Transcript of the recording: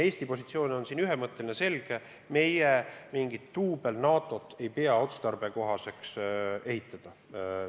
Eesti positsioon on ühemõtteline ja selge: meie ei pea otstarbekaks mingit duubel-NATO-t ehitada.